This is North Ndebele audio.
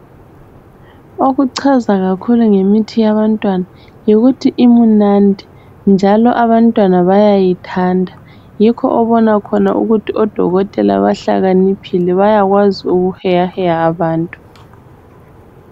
Okuchaza kakhulu ngemithi yabantwana yikuthi imunandi njalo abantwana bayayithanda. Yikho obona khona ukuthi odokotela bahlakaniphile bayakwazi ukuheyaheya abantu.